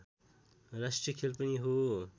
राष्ट्रिय खेल पनि हो